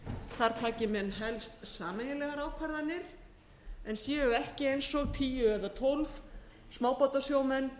þar taki menn helst sameiginlegar ákvarðanir en séu ekki eins og tíu eða tólf smábátasjómenn